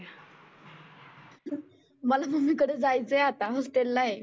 मला मम्मी कडे जायचं आहे आता हॉस्टेलला आहे.